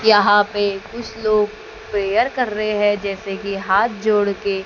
यहां पे कुछ लोग प्रेयर कर रहे हैं जैसे कि हाथ जोड़ के--